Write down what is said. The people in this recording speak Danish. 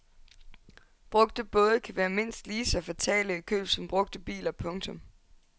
Brugte både kan være mindst lige så fatale i køb som brugte biler. punktum